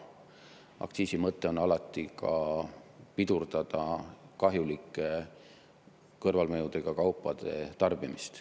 Aktsiisi mõte on alati ka pidurdada kahjulike kõrvalmõjudega kaupade tarbimist.